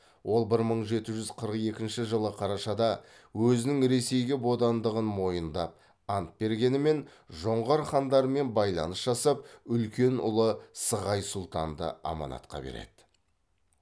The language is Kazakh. ол бір мың жеті жүз қырық екінші жылы қарашада өзінің ресейге бодандығын мойындап ант бергенімен жоңғар хандарымен байланыс жасап үлкен ұлы сығай сұлтанды аманатқа береді